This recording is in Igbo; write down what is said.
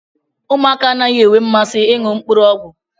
Ụmụaka anaghị enwe mmasị ịṅụ mkpụrụ ọgwụ.